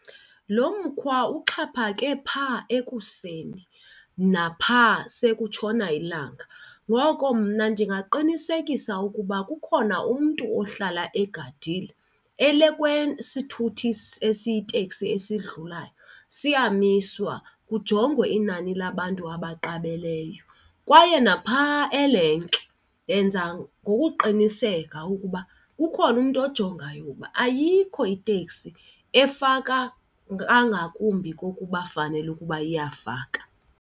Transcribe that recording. Lo mkhwa uxhaphake phaa ekuseni naphaa sekutshona ilanga, ngoko mna ndingaqinisekisa ukuba kukhona umntu ohlala egadile. Elekwe sithuthi esiyiteksi esidlulayo siyamiswa kujongwe inani labantu abaqabeleyo. Kwaye naphaya elenki yenza ngokuqinisekisa ukuba kukhona umntu ojongayo uba ayikho iteksi efaka kangakumbi kokuba fanele ukuba iyafaka.